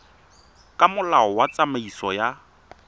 ka molao wa tsamaiso ya